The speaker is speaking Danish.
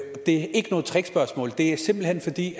er ikke noget trickspørgsmål det er simpelt hen fordi